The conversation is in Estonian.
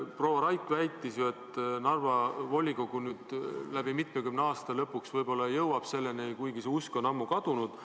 Proua Raik väitis, et Narva volikogu jõuab nüüd lõpuks, üle mitmekümne aasta selleni, kuigi see usk on ammu kadunud.